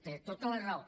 té tota la raó